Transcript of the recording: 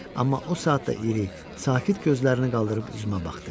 Amma o saatda iri, sakit gözlərini qaldırıb üzümə baxdı.